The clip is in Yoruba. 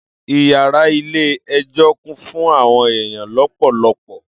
Iyara ile ejo kún fún àwọn eyan lopolopo